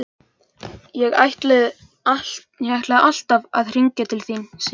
Ég ætlaði alltaf að hringja til þín, Sif.